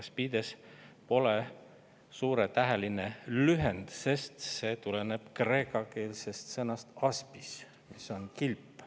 Aspides pole suurtäheline lühend, sest see tuleneb kreekakeelsest sõnast aspis, mis on 'kilp'.